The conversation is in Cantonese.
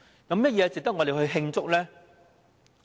有甚麼值得我們慶祝呢？